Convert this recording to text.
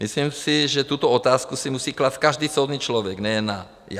Myslím si, že tuto otázku si musí klást každý soudný člověk, nejen já.